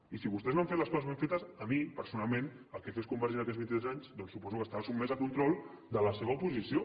i si vostès no han fet les coses ben fetes a mi personalment el que fes convergència en aquells vint i tres anys doncs suposo que estava sotmès a control de la seva oposició